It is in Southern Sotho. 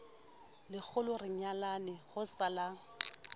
lekgolo re nyalane ho salang